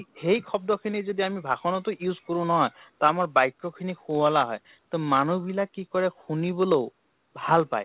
সেই শব্দখিনি যদি আমি ভাষণতো use কৰোঁ নহয়, তা আমাৰ বাক্য় খিনি শুৱলা হয় । তʼ মানুহ বিলাক কি হয়, শুনিবলৈও ভাল পাই ।